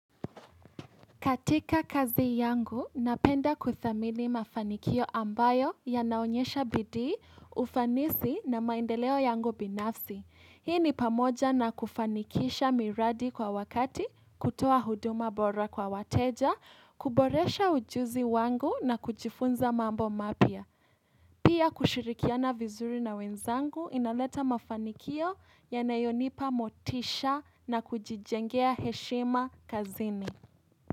Katika kazi yangu, napenda kuthamili mafanikio ambayo ya naonyesha bidii, ufanisi na maendeleo yangu binafsi. Hii ni pamoja na kufanikisha miradi kwa wakati, kutoa huduma bora kwa wateja, kuboresha ujuzi wangu na kujifunza mambo mapya. Pia kushirikiana vizuri na wenzangu, inaleta mafanikio ya nayonipa motisha na kujijengea heshima kazini.